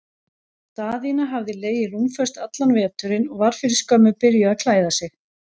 Daðína hafði legið rúmföst allan veturinn og var fyrir skömmu byrjuð að klæða sig.